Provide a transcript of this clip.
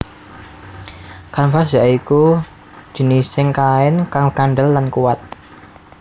Kanvas ya iku jinising kain kang kandel lan kuat